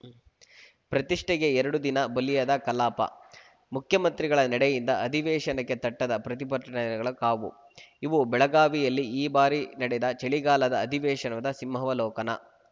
ಪ್ರತಿಷ್ಠೆಗೆ ಎರಡು ದಿನ ಬಲಿಯಾದ ಕಲಾಪ ಮುಖ್ಯಮಂತ್ರಿಗಳ ನಡೆಯಿಂದ ಅಧಿವೇಶನಕ್ಕೆ ತಟ್ಟದ ಪ್ರತಿಭಟನೆಗಳ ಕಾವು ಇವು ಬೆಳಗಾವಿಯಲ್ಲಿ ಈ ಬಾರಿ ನಡೆದ ಚಳಿಗಾಲದ ಅಧಿವೇಶನದ ಸಿಂಹಾವಲೋಕನ